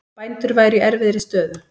Bændur væru í erfiðri stöðu